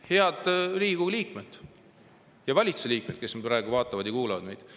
Head Riigikogu liikmed ja valitsusliikmed, kes praegu meid vaatavad ja kuulavad!